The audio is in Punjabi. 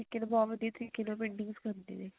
ਉਹ ਬਹੁਤ ਤਰੀਕੇ ਨਾਲ painting ਸਿਖਾਉਂਦੇ ਨੇ